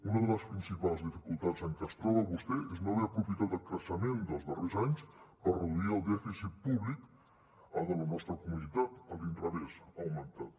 una de les principals dificultats amb què es troba vostè és no haver aprofitat el creixement dels darrers anys per reduir el dèficit públic de la nostra comunitat a l’inrevés ha augmentat